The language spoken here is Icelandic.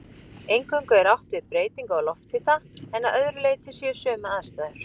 Eingöngu er átt við breytingu á lofthita en að öðru leyti séu sömu aðstæður.